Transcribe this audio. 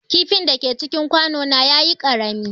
Kifin da ke cikin kwano na ya yi ƙarami.